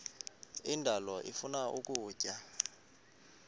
indalo ifuna ukutya